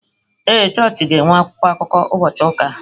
Ee chọọchị ga-enwe akwụkwọ akụkọ ụbọchị ụka a.